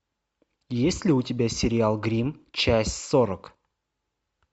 есть ли у тебя сериал гримм часть сорок